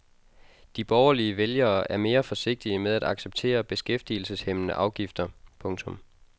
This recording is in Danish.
De borgerlige vælgere er mere forsigtige med at acceptere beskæftigelseshæmmende afgifter. punktum